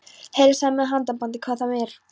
Heilsaði með handabandi hvað þá meir.